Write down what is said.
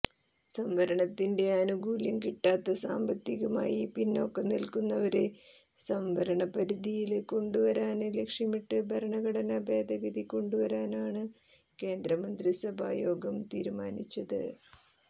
സംവരണത്തിന്റെ ആനുകൂല്യം കിട്ടാത്ത സാമ്പത്തികമായി പിന്നാക്കം നില്ക്കുന്നവരെ സംവരണപരിധിയില് കൊണ്ടുവരാന് ലക്ഷ്യമിട്ട് ഭരണഘടനാ ഭേദഗതി കൊണ്ടുവരാനാണ് കേന്ദ്രമന്ത്രിസഭാ യോഗം തീരുമാനിച്ചത്